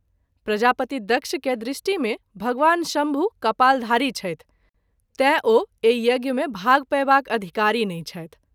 प्रजापति दक्ष के दृष्टि में भगवान शम्भु कपालधारी छथि तैँ ओ एहि यज्ञ मे भाग पयबाक अधिकारी नहिं छथि।